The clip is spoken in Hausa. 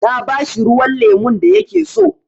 Na ba shi ruwan lemun da ya ke so.